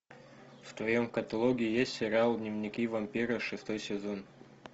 в твоем каталоге есть сериал дневники вампира шестой сезон